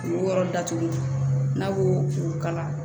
O yɔrɔ datugu n'a ko o kala